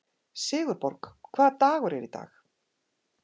Sigurborg, hvaða dagur er í dag?